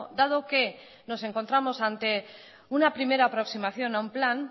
dado que nos encontramos ante una primera aproximación a un plan